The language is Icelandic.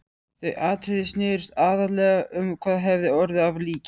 Þau atriði snerust aðallega um hvað hefði orðið af líki